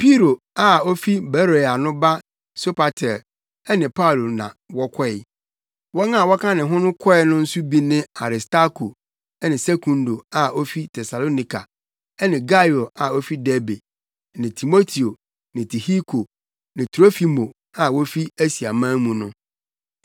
Piro a ofi Beroia no ba Sopater ne Paulo na wɔkɔe. Wɔn a wɔka ne ho kɔe no nso bi ne Aristarko ne Sekundo a wofi Tesalonika ne Gaio a ofi Derbe ne Timoteo ne Tihiko ne Trofimo a wofi Asiaman mu no.